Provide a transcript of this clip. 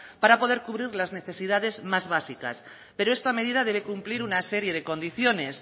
para poder cubrir las necesidades más básicas pero esta medida debe cumplir una serie de condiciones